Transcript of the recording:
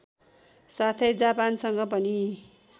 साथै जापानसँग पनि